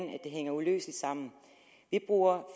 det hænger uløseligt sammen vi bruger